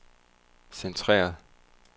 centreret